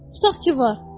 Tutaq ki var.